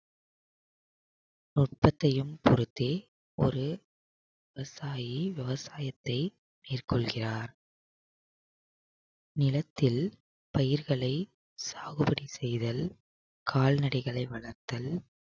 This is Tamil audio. நுட்பத்தையும் பொருத்தி ஒரு விவசாயி விவசாயத்தை மேற்கொள்கிறார் நிலத்தில் பயிர்களை சாகுபடி செய்தல் கால்நடைகளை வளர்த்தல்